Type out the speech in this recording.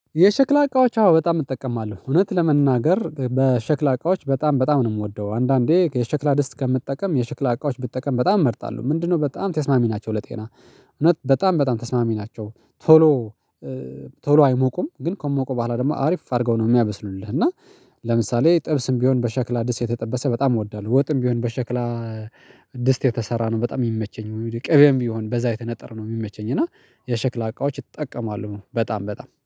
የሸክላ እቃዎች አዎ በጣም እጠቀማለሁ እውነት ለመናገር በሸክላ እቃዎች በጣም በጣም ነው የምወደው አንዳንዴ የሸክላ ድስት ከምጠቀም የሽክላ እቃዎች ብጠቀም በጣም እመርጣለሁ ምንድነው በጣም ተስማሚ ናቸው ለጤና እውነት በጣም በጣም ተስማሚ ናቸው ቶሎ ቶሎ አይሞቁም ግን ከሞቁ በኋላ ደግሞ አሪፍ አድርገው ነው የሚያበስሉልህ እና ለምሳሌ ጥብስም ቢሆን በሸክላ ድስት የተጠበሰ በጣም እወዳለሁ ወጥም ቢሆን በሸክላ ድስት የተሰራ ነው በጣም የሚመቸኝ ቅቤም የሚሆን በዛ የተነጠር ነው የሚመቸኝ እና የሸክላ እቃዎች ይጠቀማሉ በጣም በጣም።